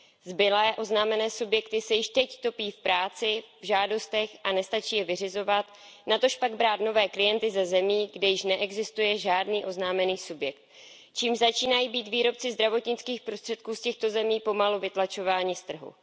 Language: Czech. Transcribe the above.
Zbylé oznámené subjekty se již teď topí v práci a v žádostech a nestačí je vyřizovat, natožpak brát nové klienty ze zemí, kde již neexistuje žádný oznámený subjekt, čímž začínají být výrobci zdravotnických prostředků z těchto zemí pomalu vytlačováni z trhu.